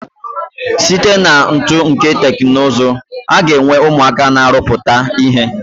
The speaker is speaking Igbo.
Site na uto nke teknụzụ, aga enwe ụmụaka ma arụpụta ihe.